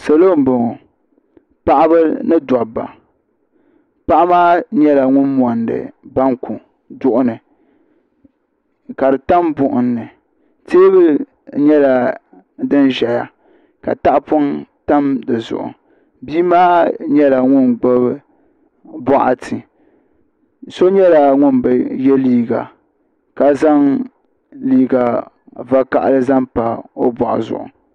Salɔ n bɔŋɔ paɣaba ni daba paɣi maa nyɛla ŋun mɔndi banku duɣuni kadi tam buɣim ni teebuli nyɛla din ʒaya. katahipɔŋ tam dizuɣu biimaa nyɛla ŋun gbubi bɔɣa ti so nyɛla ŋun bi ye liiga ka zaŋ liiga vakahili n pa bɔɣu zuɣu.